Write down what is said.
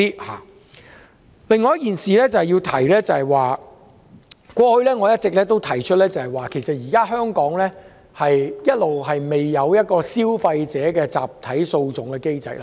我要提出的另一點，我過去一直指出，香港現時仍未設有消費者集體訴訟機制。